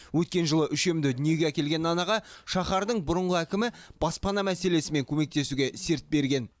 өткен жылы үшемді дүниеге әкелген анаға шаһардың бұрынғы әкімі баспана мәселесімен көмектесуге серт берген